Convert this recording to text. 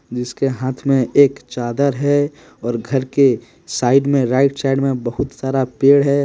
जिसके हाथ में एक चादर है और घर के साइड में राइट साइड में बहुत सारा पेड़ है ।